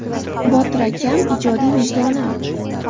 Botir akam ijodiy vijdonim.